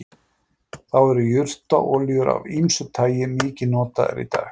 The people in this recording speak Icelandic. Þá eru jurtaolíur af ýmsu tagi mikið notaðar í dag.